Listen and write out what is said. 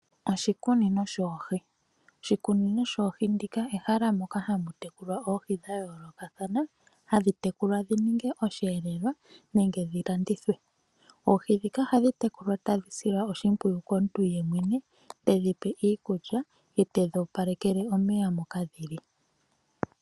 Oshikunino shoohi ndika ehala moka hamu tekulwa oohi dhayoolokathana, hadhi tekulwa dhininge osheelelwa nenge dhilandithwe. Oohi ohadhi tekulwa tadhi silwa oshimpwiyu komuntu yemwene, tedhi pe iikulya, etedhi opalekele omeya moka dhili.